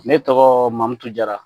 Ne tɔgɔ Mamutu Jara